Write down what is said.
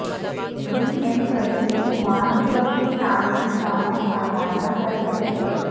D M Pradeep Kumar مسلسل تعمیری کاموں کا معائنہ کرتے رہتے ہیں